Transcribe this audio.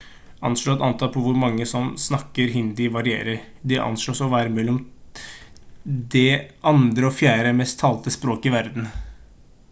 anslått antall på hvor mange som snakker hindi varierer det anslås å være mellom det andre og fjerde mest talte språket i verden